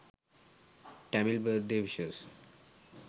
tamil birthday wishes